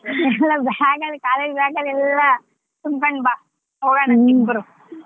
Bag ಅಲ್ಲಿ college bag ಎಲ್ಲಾ ತುಂಬ್ಕೊಂಡ್ ಬಾ ಹೋಗಣ ಅಂತ ಇಬ್ರೂ .